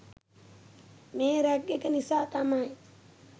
මේ රැග් එක නිසා තමයි